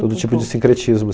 Todo tipo de sincretismos